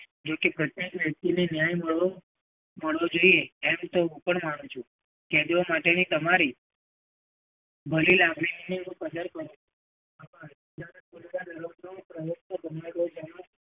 જો કે પ્રત્યેક વ્યક્તિને ન્યાય મળવો મળવો જોઈએ એમ તો હું પણ માનું છું. કેદીઓ માટેની તમારી ભલી લાગણીની હું પણ કદર કરું છું.